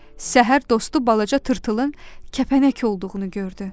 Səhər dostu balaca tırtılın kəpənək olduğunu gördü.